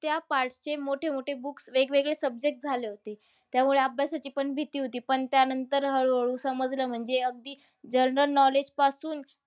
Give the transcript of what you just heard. त्या part चे मोठे-मोठे books वेगवेगळे subjects झाले होते. त्यामुळे अभ्यासाची पण भीती होती. पण त्यानंतर हळूहळू समजलं म्हणजे अगदी general knowledge पासून